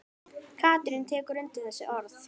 Katrín tekur undir þessi orð.